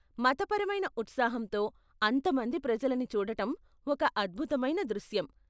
మతపరమైన ఉత్సాహంతో అంత మంది ప్రజలని చూడటం ఒక అద్భుతమైన దృశ్యం.